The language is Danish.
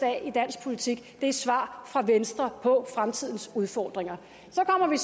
i dansk politik er svar fra venstre på fremtidens udfordringer så kommer vi